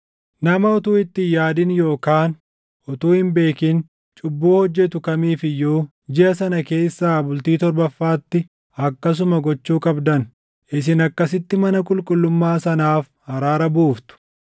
Nama utuu itti hin yaadin yookaan utuu hin beekin cubbuu hojjetu kamiif iyyuu jiʼa sana keessaa bultii torbaffaatti akkasuma gochuu qabdan; isin akkasitti mana qulqullummaa sanaaf araara buuftu.